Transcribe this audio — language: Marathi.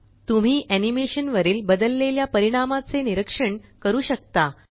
तुम्ही एनीमेशन वरील बदललेल्या परिणामाचे निरक्षण करू शकता